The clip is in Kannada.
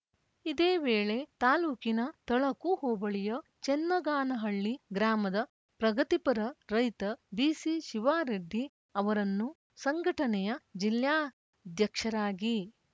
ಇದೇ ವೇಳೆ ತಾಲೂಕಿನ ತಳಕು ಹೋಬಳಿಯ ಚನ್ನಗಾನಹಳ್ಳಿ ಗ್ರಾಮದ ಪ್ರಗತಿಪರ ರೈತ ಬಿಸಿಶಿವಾರೆಡ್ಡಿ ಅವರನ್ನು ಸಂಘಟನೆಯ ಜಿಲ್ಲಾಧ್ಯಕ್ಷರಾಗಿ